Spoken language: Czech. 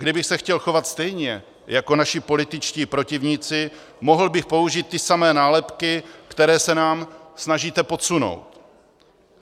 Kdybych se chtěl chovat stejně jako naši političtí protivníci, mohl bych použít ty samé nálepky, které se nám snažíte podsunout.